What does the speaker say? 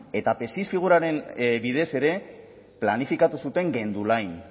eta psis figuraren bidez ere planifikatu zuten gendulain